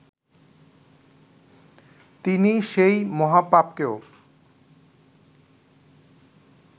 তিনি সেই মহাপাপকেও